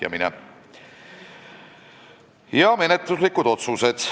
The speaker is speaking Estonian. Menetluslikud otsused.